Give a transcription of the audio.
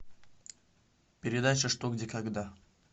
передача что где когда